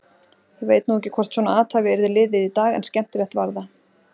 Ég veit nú ekki hvort svona athæfi yrði liðið í dag en skemmtilegt var það.